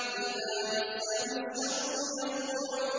إِذَا مَسَّهُ الشَّرُّ جَزُوعًا